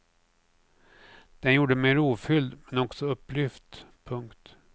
Den gjorde mig rofylld men också upplyft. punkt